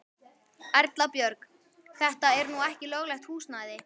Erla Björg: Þetta er nú ekki löglegt húsnæði?